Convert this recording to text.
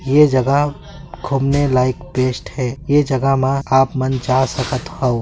ए जगह घुमने लायक बेस्ट है यह जगह में आप मन जा सकत हव ।